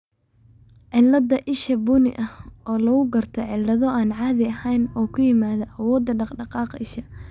cillada isha bunni oo lagu garto cillado aan caadi ahayn oo kuyimaada awoodda dhaqdhaqaaqa isha.